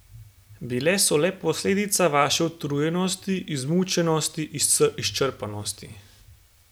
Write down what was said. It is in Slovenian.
Bile so le posledica vaše utrujenosti, izmučenosti, izčrpanosti.